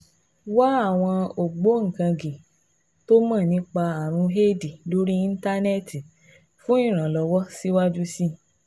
Wá àwọn ògbóǹkangí tó mọ̀ nípa ààrùn éèdì lórí Íńtánẹ́ẹ̀tì fún ìrànlọ́wọ́ síwájú sí i